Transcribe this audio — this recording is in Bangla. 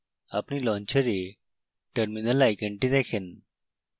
আপনি launcher terminal আইকনটি দেখেন